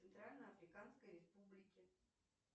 центральноафриканской республики